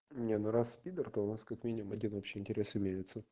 не ну раз пидр то у нас как минимум один общий интерес имеется